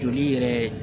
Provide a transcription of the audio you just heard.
Joli yɛrɛ